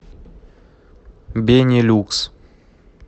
бенилюкс